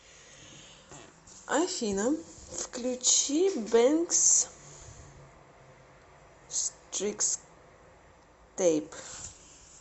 афина включи бэнкс стрикстэйп